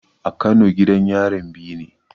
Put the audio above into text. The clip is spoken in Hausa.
A kano gidan yarin biyu ne